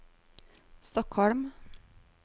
Stockholm